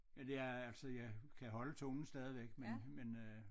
Men det er altså jeg kan holde tungen stadigvæk men men øh